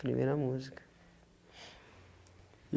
Primeira música.